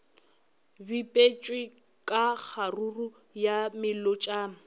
bipetšwe ka kgaruru ya melotšana